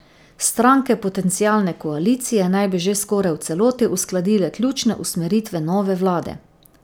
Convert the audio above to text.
Stranke potencialne koalicije naj bi že skoraj v celoti uskladile ključne usmeritve nove vlade.